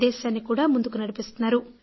దేశాన్ని కూడా ముందుకు నడిపిస్తున్నారు